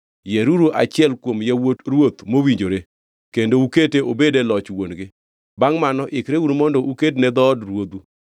yieruru achiel kuom yawuot ruoth mowinjore kendo ukete obed e loch wuon-gi. Bangʼ mano ikreuru mondo uked ne dhood ruodhu.”